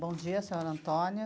Bom dia, senhor Antônio.